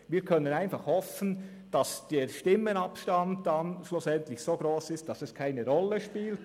Wir können einfach hoffen, dass der Stimmenabstand schlussendlich gross genug ist, sodass es keine Rolle spielt.